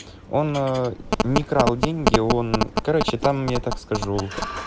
он не крал деньги он короче там я так скажу